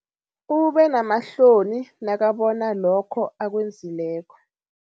Ubenamahloni nakabona lokho akwenzileko.